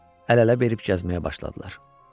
Əl-ələ verib gəzməyə başladılar.